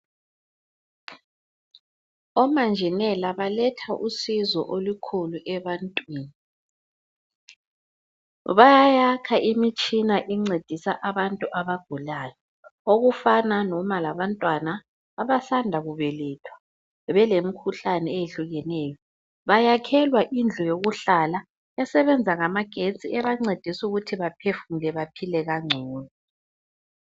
Omanjinela baletha usizo olukhulu ebantwini. Bayayakha imitshina encedisa abantu abagulayo okufana noma labantwana abasanda kubelethwa belemkhuhlane eyehlukeneyo bayakhelwa indlu yokuhlala esebenza ngamagetsi ebancedisukuthi baphefumule baphile kangcono.